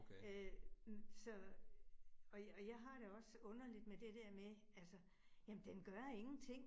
Øh så og og jeg har det også underligt med det der med altså, jamen den gør ingenting